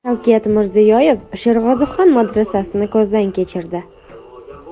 Shavkat Mirziyoyev Sherg‘ozixon madrasasini ko‘zdan kechirdi.